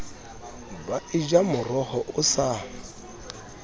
ba eja moroho o sa